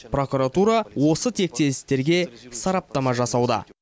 прокуратура осы тектес істерге сараптама жасауда